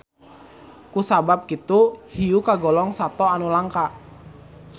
Ku sabab kitu hiu kagolong sato anu langka.